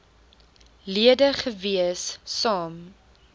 lede gewees saam